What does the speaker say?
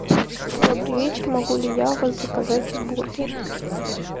добрый вечер могу ли я у вас заказать бургер